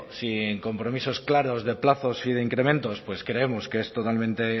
sin compromisos claros de plazos y de incrementos pues creemos que es totalmente